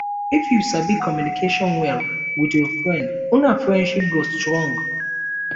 if you sabi communicate well with your friend una friendship go strong